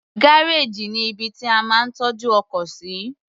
Gárèjì ní ibi tí a máa ń tọ́jú ọkọ̀ sí.